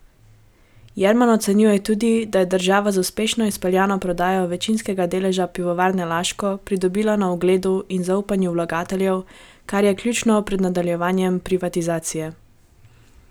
Jerman ocenjuje tudi, da je država z uspešno izpeljano prodajo večinskega deleža Pivovarne Laško pridobila na ugledu in zaupanju vlagateljev, kar je ključno pred nadaljevanjem privatizacije.